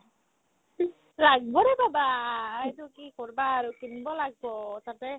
লাগবৰে baba এইটো কি কৰবা আৰু কিনিব লাগব তাতে